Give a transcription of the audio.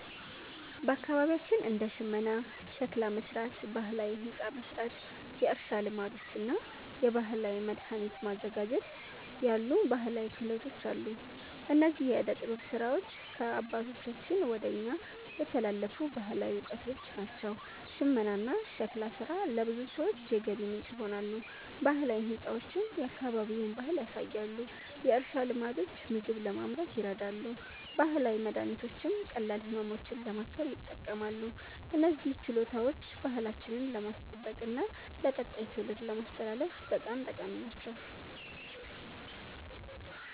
በአካባቢያችን እንደ ሽመና፣ ሸክላ መሥራት፣ ባህላዊ ሕንፃ መሥራት፣ የእርሻ ልማዶች እና የባህላዊ መድኃኒት ማዘጋጀት ያሉ ባህላዊ ክህሎቶች አሉ። እነዚህ የዕደ ጥበብ ሥራዎች ከአባቶቻችን ወደ እኛ የተላለፉ ባህላዊ እውቀቶች ናቸው። ሽመናና ሸክላ ሥራ ለብዙ ሰዎች የገቢ ምንጭ ይሆናሉ፣ ባህላዊ ሕንፃዎችም የአካባቢውን ባህል ያሳያሉ። የእርሻ ልማዶች ምግብ ለማምረት ይረዳሉ፣ ባህላዊ መድኃኒቶችም ቀላል ህመሞችን ለማከም ይጠቅማሉ። እነዚህ ችሎታዎች ባህላችንን ለማስጠበቅና ለቀጣይ ትውልድ ለማስተላለፍ በጣም ጠቃሚ ናቸው።